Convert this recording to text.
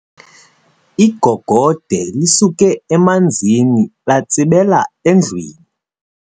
Igogode lisuke emanzini latsibela endlwini.